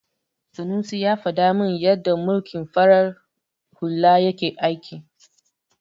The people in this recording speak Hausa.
Sanusi ya faɗa min yadda mulkin farar hula yake aiki.